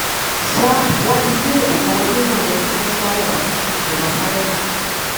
ṣá wọn ti gbé òkú ọmọdé náà lọ sí mọṣúárì ọsibítù ìjọba fún àyẹwò